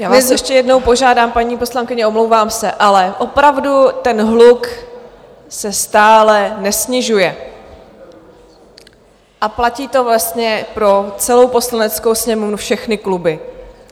Já vás ještě jednou požádám, paní poslankyně, omlouvám se, ale opravdu ten hluk se stále nesnižuje, a platí to vlastně pro celou Poslaneckou sněmovnu, všechny kluby.